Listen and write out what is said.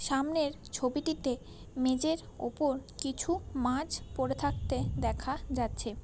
সামনের ছবিটিতে মেঝের ওপর কিছু মাছ পড়ে থাকতে দেখা যাচ্ছে।